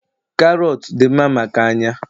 Karọt dị mma maka anya.